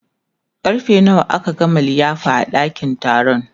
karfe nawa aka gama liyafa a ɗakin taron